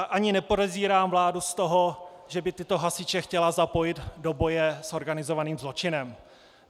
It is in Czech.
A ani nepodezírám vládu z toho, že by tyto hasiče chtěla zapojit do boje s organizovaným zločinem.